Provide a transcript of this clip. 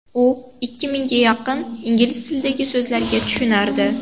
U ikki mingga yaqin ingliz tilidagi so‘zlarga tushunardi.